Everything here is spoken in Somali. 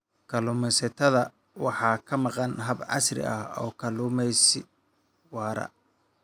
Kalluumeysatada waxaa ka maqan habab casri ah oo kalluumeysi waara.